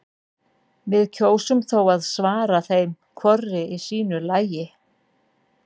Við kjósum þó að svara þeim hvorri í sínu lagi.